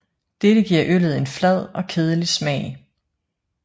Dette giver øllet en flad og kedelig smag